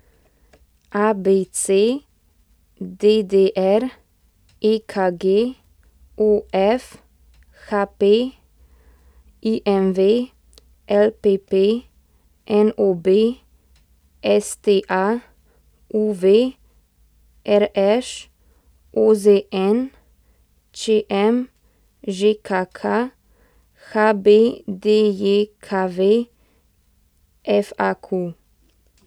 ABC, DDR, EKG, OF, HP, IMV, LPP, NOB, STA, UV, RŠ, OZN, ČM, ŽKK, HBDJKV, FAQ.